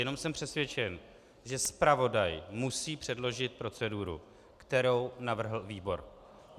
Jenom jsem přesvědčen, že zpravodaj musí předložit proceduru, kterou navrhl výbor.